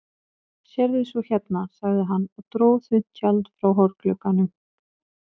Sérðu svo hérna, sagði hann og dró þunnt tjald frá hornglugganum.